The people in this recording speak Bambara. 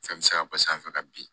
Fɛn bɛ se ka bɔ sanfɛ ka bin